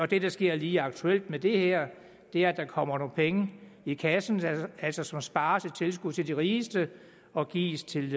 det der sker lige aktuelt med det her er at der kommer nogle penge i kassen som altså spares i tilskud til de rigeste og gives til